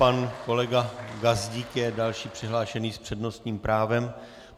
Pan kolega Gazdík je další přihlášený s přednostním právem.